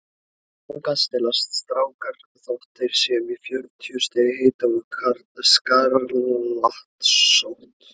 Þangað stelast strákar þótt þeir séu með fjörutíu stiga hita og skarlatssótt.